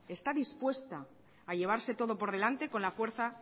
está dispuesta a llevarse todo por delante con la fuerza